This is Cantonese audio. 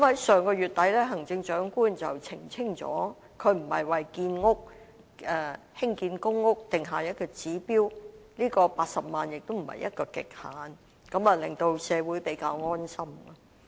上月底，行政長官已澄清她並非為興建公屋定下指標 ，80 萬個單位亦非一個極限，令社會感到比較安心。